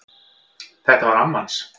Þetta var amma hans